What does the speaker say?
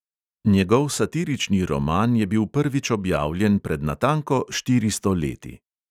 Njegov satirični roman je bil prvič objavljen pred natanko štiristo leti.